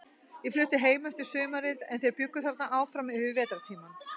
Ég flutti heim eftir sumarið, en þeir bjuggu þarna áfram yfir vetrartímann.